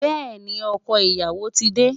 Bẹ́ẹ̀ni, ọkọ ìyàwó ti dé.